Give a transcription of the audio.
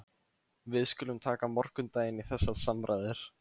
Við skulum taka morgundaginn í þessar samræður.